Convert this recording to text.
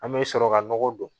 An bɛ sɔrɔ ka nɔgɔ don